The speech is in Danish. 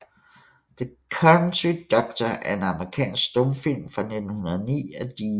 The Country Doctor er en amerikansk stumfilm fra 1909 af D